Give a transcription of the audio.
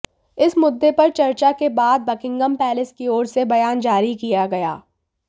इस मुद्दे पर चर्चा के बाद बकिंघम पैलेस की ओर से बयान जारी किया गया